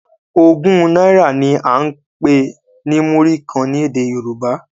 Ògún náírà ni a n pè ní muri kàn ní èdè yorúbá